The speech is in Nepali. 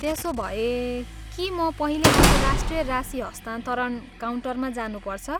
त्यसोभए, के म पहिले अन्तर्राष्ट्रिय राशि हस्तान्तरण काउन्टरमा जानुपर्छ?